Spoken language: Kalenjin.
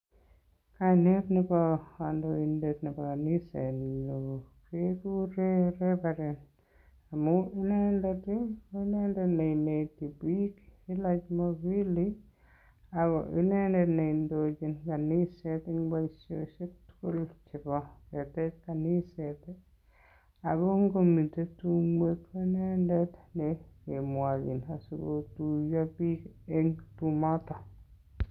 Kainet nebo kondoindet nebo kanisenyun keguren reverend amun inendet, ko indet ne ineti biik kila Jumapili ago inendet ne indochin kaniset en boisiosiek tugul chebo ketech kaniset. Ago ngomiten tumwek ko inendet ne kemwoe kele asikotuiyo biik en tumoton.